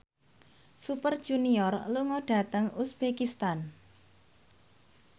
Super Junior lunga dhateng uzbekistan